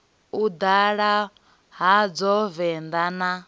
u ḓala hadzo venḓa na